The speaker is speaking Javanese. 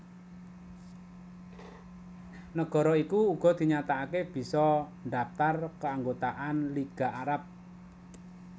Nagara iki uga dinyatakaké bisa ndhaptar kaanggotaan Liga Arab